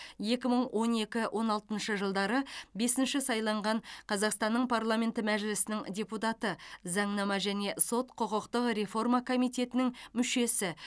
екі мың он екі он алтыншы жылдары бесінші сайланған қазақстанның парламенті мәжілісінің депутаты заңнама және сот құқықтық реформа комитетінің мүшесі